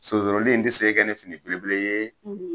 Sonsoroli in tɛ se ka kɛ ni fini belebele ye